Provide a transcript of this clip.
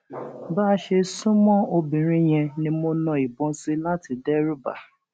bá a ṣe sún mọ obìnrin yẹn ni mo na ìbọn sí i láti dẹrùbà á